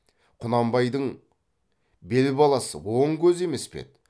құнанбайдың бел баласы оң көзі емес пе еді